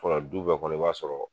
du bɛɛ kɔnɔ i b'a sɔrɔ